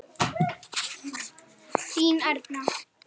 Þín Erna.